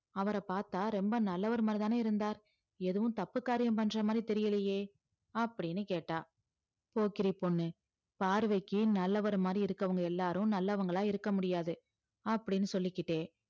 அவர பாத்தா ரொம்ப நல்லவர் மாதிரிதான இருந்தார் எதுவும் தப்பு காரியம் பண்ற மாதிரி இல்லையே அப்டின்னு கேட்டா போக்கிரி பொண்ணு பார்வைக்கி நல்லவர் மாதிரி இருக்கவங்க எல்லாரும் நல்லவங்களா இருக்க முடியாது அப்டின்னு சொல்லிகிட்டே